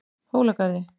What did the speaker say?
Hólagarði